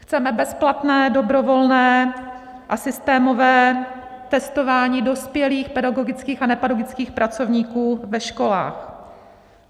Chceme bezplatné dobrovolné a systémové testování dospělých pedagogických a nepedagogických pracovníků ve školách.